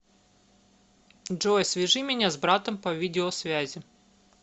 джой свяжи меня с братом по видеосвязи